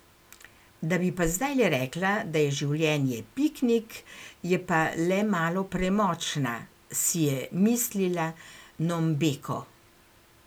Da bi pa zdajle rekla, da je življenje piknik, je pa le malo premočna, si je mislila Nombeko.